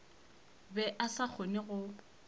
be a sa kgone go